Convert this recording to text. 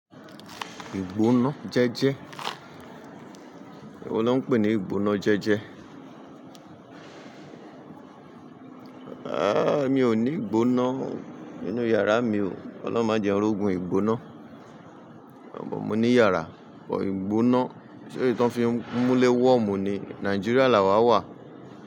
Ìgbóná jẹ́jẹ́. Èwo lọ́ n pè ní ìgbóná jẹ́jẹ́. Aaa, mi ò ní ìgbóná nínú yàrá mi o. Ọlọ́run má jẹ n rógun ìgbóná. Mo ní yàrá bọ ìgbóná. Ṣé èyí tó ń fi nmúlé wọ́ọ̀mu ni? Nàìjíríà lawà wà.